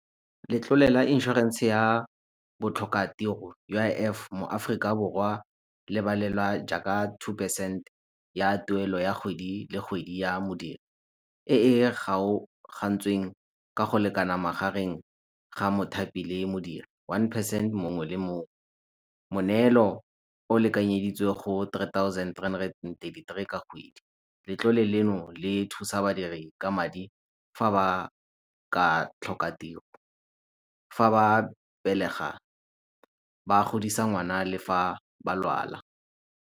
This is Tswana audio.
Letlole la insurance ya botlhokatiro U_I_F, mo Aforika Borwa le balelwa jaaka two percent ya tuelo ya kgwedi le kgwedi ua modiri, e e kgaogantsweng ka go lekana magareng ga mothapi le modiri, one percent mongwe le mongwe. Moneelo o lekanyeditswe go three thousand and thirty thhree ka kgwedi. Letlole leno le thusa badiri ka madi fa ba ka tlhoka tiro, fa ba belega ba godisa ngwana le fa ba lwala.